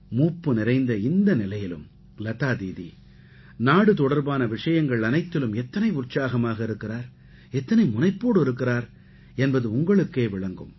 மூப்பு நிறைந்த இந்த நிலையிலும் லதா தீதி நாடு தொடர்பான விஷயங்கள் அனைத்திலும் எத்தனை உற்சாகமாக இருக்கிறார் எத்தனை முனைப்போடு இருக்கிறார் என்பது உங்களுக்கே விளங்கும்